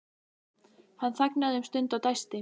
Hann þagnaði um stund og dæsti.